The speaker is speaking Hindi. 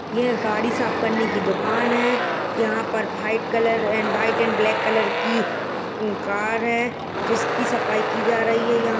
यह गाड़ी साफ करने की दुकान है यहां पर white colour and white and black colour की कार है जिसकी सफाई की जा रही है यहाँ --